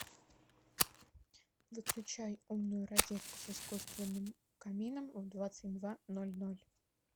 выключай умную розетку с искусственным камином в двадцать два ноль ноль